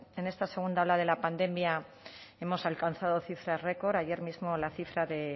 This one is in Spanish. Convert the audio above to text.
en esta segunda ola de la pandemia hemos alcanzado cifras récord ayer mismo la cifra de